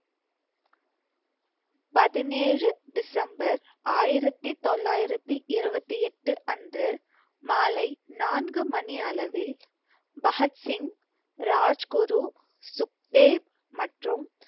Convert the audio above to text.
பதினேழு டிசம்பர் ஆயிரத்தி தொள்ளாயிரத்தி இருபத்தி எட்டு அன்று மாலை நான்கு மணி அளவில் பகத்சிங், ராஜ்குரு, சுக்தேவ் மற்றும்